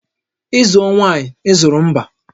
Ị zụọ nwaanyị, ị azụrụ mba